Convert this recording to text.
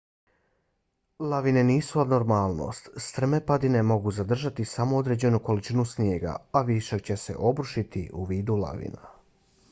lavine nisu abnormalnost; strme padine mogu zadržati samo određenu količinu snijega a višak će se obrušiti u vidu lavina